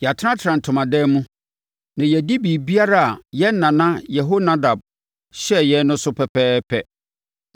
Yɛatenatena ntomadan mu, na yɛadi biribiara a yɛn nana Yehonadab hyɛɛ yɛn no so pɛpɛɛpɛ.